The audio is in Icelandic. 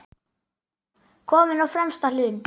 Kominn á fremsta hlunn.